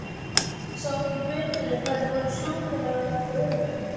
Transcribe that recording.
Sá ekki betur en að þær væru sjúkar af öfund.